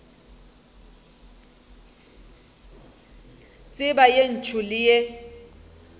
tseba ye ntsho le ye